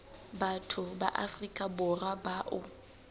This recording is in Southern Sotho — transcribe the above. batho ba afrika borwa bao